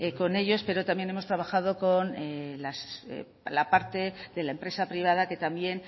con ellos pero también hemos trabajo con la parte de la empresa privada que también